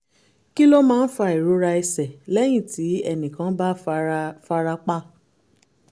kí ló máa ń fa ìrora ẹsẹ̀ lẹ́yìn tí ẹnì kan bá fara fara pa?